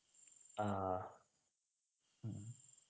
ആഹ് ഉം